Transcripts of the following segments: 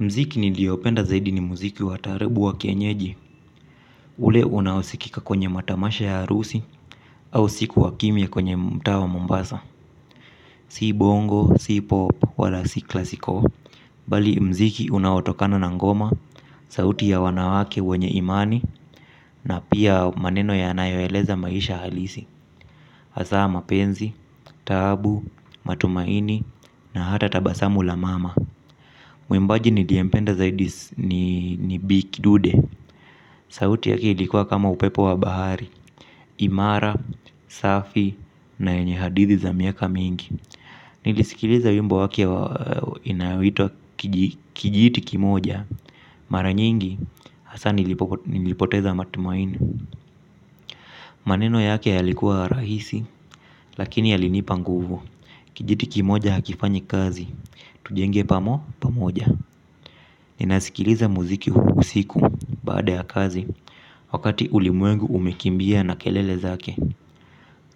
Mziki niliopenda zaidi ni mziki watarebu wa kenyeji, ule unaosikika kwenye matamasha ya arusi, au siku wakimya kwenye mtaa wa mmbasa. Si bongo, si pop, wala si klasiko. Bali mziki unautokano na ngoma, sauti ya wanawake, wanye imani, na pia maneno ya anayoeleza maisha halisi. Asa mapenzi, taabu, matumaini, na hata tabasamu la mama. Mwimbaji nilyempenda zaidi ni Bikidude. Sauti yake ilikuwa kama upepo wa bahari. Imara, safi na yenye hadithi za miaka mingi. Nilisikiliza wimbo waki inayoitwa kijiti kimoja. Maranyingi hasa nilipoteza matumaini. Maneno yake yalikua rahisi. Lakini yalinipa nguvu. Kijiti kimoja hakifanyi kazi. Tujenge pamo pamoja. Ninasikiliza muziki usiku baada ya kazi. Wakati ulimwengu umekimbia na kelele zake.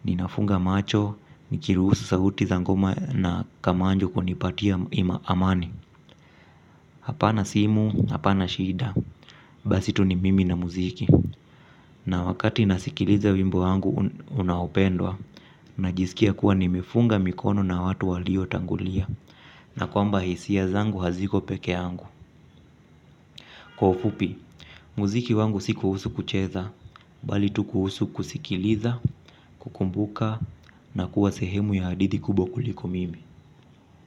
Ninafunga macho, mikiruhusu sauti za ngoma na kamanjo kunipatia ima amani. Hapa na simu, hapa na shida. Basi tu ni mimi na muziki. Na wakati nasikiliza wimbo wangu unaopendwa. Najisikia kuwa nimifunga mikono na watu walio tangulia na kwamba hisia zangu haziko peke angu. Kwa ufupi, muziki wangu si kuhusu kucheza, bali tu kuhusu kusikiliza, kukumbuka, na kuwa sehemu ya hadithi kubwa kuliko mimi.